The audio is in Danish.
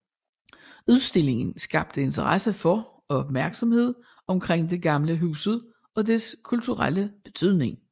Udstillingen skabte interesse for og opmærksomhed omkring det gamle hus og dets kulturelle betydning